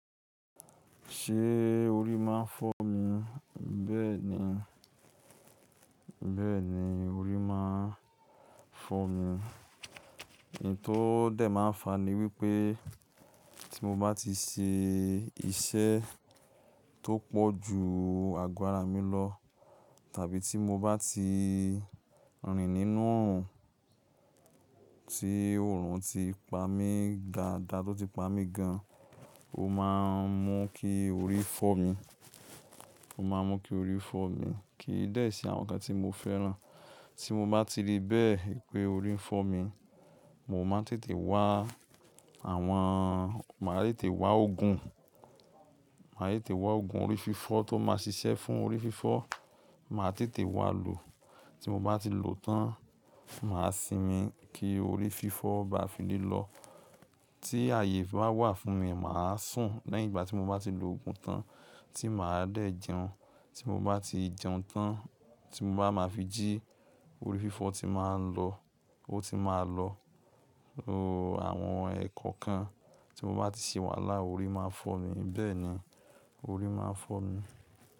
Ṣé orí máa ń fọ́ mi? Bẹ́ẹ̀ ni, bẹ́ẹ̀ ni, orí máa ń fọ́ mi. Ohun tó dẹ̀ máa ń fa ni wípé tí mo bá ti ṣe iṣẹ́ tó pọ̀ ju àgọ́ ara mi lọ tàbí tí mo bá ti rìn nínú òòrùn tí òòrùn ti pa mí gaada, tó ti pa mí gan, ó máa ń mú kí orí fọ́ mi, ó máa ń mú kí orí fọ́ mi kì í dẹ́ẹ̀ sí àwọn ǹkan tí mo fẹ́ran. Tí mo bá ti rí bẹ́ẹ̀ pé orí ń fọ́ mi, mo máa tètè wá àwọn, màá tètè wá oògùn, màá tètè wá oògùn orí fífọ́ tó máa ṣiṣẹ́ fún orí fífọ́. Mà á tètè wá lò, tí mo bá ti lò ó tán, mà á sinmi kí orí fífọ́ bá fi lé lọ. Tí ààyè bá wà fún mi, mà á sùn. Lẹ́yìn ìgbà tí mo bá ti lo oògùn tán tí mà á dẹ̀ jẹun. Tí mo bá ti jẹun tán, tí mo bá máa fi jí, orí fífọ́ ti máa ń lọ, ó ti máa lọ. Àwọn ẹ̀ẹ̀kọ̀ọ̀kan tí mo bá ti ṣe wàhálà orí máa ń fọ mi, bẹ́ẹ̀ ni orí máa ń fọ mi.